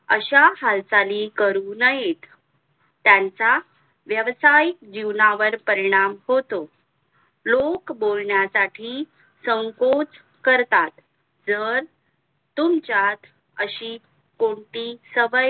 यांचा व्यावसायिक जीवनावर परिणाम होतो लोक बोलण्यासाठी संकोच करता जर तुमच्यात अशी कोणती सवय